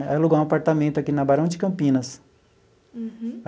Aí alugamos um apartamento aqui na Barão de Campinas. Uhum.